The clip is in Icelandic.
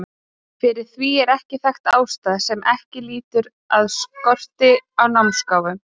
Fyrir því er þekkt ástæða sem ekki lýtur að skorti á námsgáfum.